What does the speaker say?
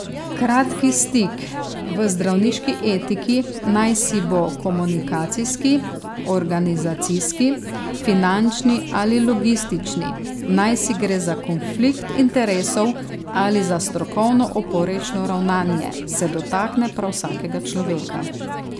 Kratki stik v zdravniški etiki, najsi bo komunikacijski, organizacijski, finančni ali logistični, najsi gre za konflikt interesov ali za strokovno oporečno ravnanje, se dotakne prav vsakega človeka.